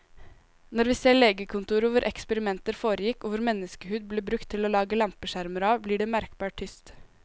Når vi ser legekontoret hvor eksperimenter foregikk og hvor menneskehud ble brukt til å lage lampeskjermer av, blir det merkbart tyst.